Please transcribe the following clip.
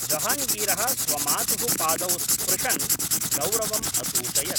जहाङ्गीरः स्वमातुः पादौ स्पृशन् गौरवम् असूचयत्।